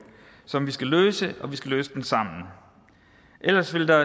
som vi skal løse og vi skal løse den sammen ellers vil der